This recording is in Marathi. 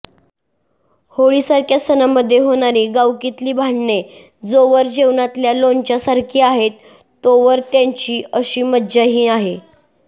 होळीसारख्या सणांमध्ये होणारी गावकीतली भांडणे जोवर जेवणातल्या लोणच्यासारखी आहेत तोवर त्याची अशी मजाही आहे